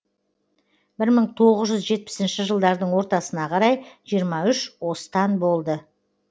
бір мың тоғыз жүз жетпісінші жылдардың ортасына қарай жиырма үш остан болды